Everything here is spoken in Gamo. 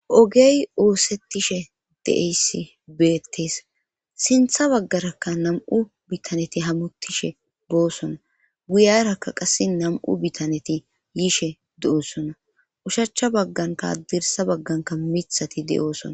ogey oosettishe de7eyssi beettees sintha baggarakka nam7u bitaneti hamuttishe boossona guyarakka qasse nam7u bitaneti yiishe do7ossona ushachcha baggankaadirsa bagganka mithati de7oosona